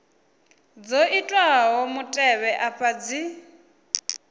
dzo itwaho mutevhe afha dzi